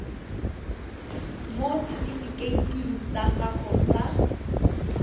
mo setifikeiting sa gago sa